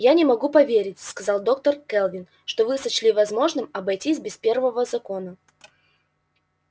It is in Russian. я не могу поверить сказала доктор кэлвин что вы сочли возможным обойтись без первого закона